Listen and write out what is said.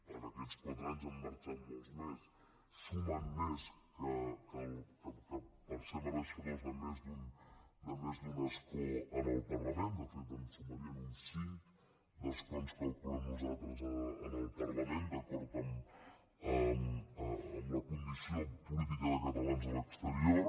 en aquests quatre anys n’han marxat molts més sumen més per ser mereixedors de més d’un escó en el parlament de fet en sumarien uns cinc d’escons calculem nosaltres en el parlament d’acord amb la condició política de catalans a l’exterior